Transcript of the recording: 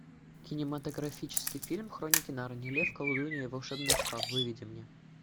кинематографический фильм хроники нарнии лев колдунья и волшебный шкаф выведи мне